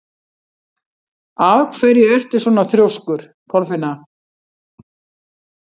Af hverju ertu svona þrjóskur, Kolfinna?